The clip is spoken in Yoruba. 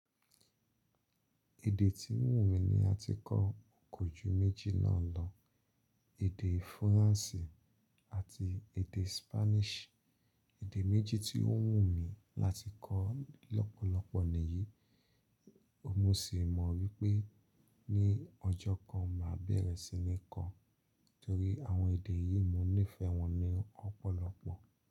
Èdè tí ń wù mí ni la ti kọ́ kọ̀jú méjì náà lọ, èdè Faransé àti èdè Spanish. Èdè méjì tí ó wù mí láti kọ́ lọ́pọ̀lọpọ̀ nìyí, mo sì mọ̀ wípé ní ọjọ́ kan màá bẹ̀rẹ̀ sí ní kọ́, torí àwọn èdè yìí mo nífẹ̀ẹ́ wọn ní ọ̀pọ̀lọpọ̀.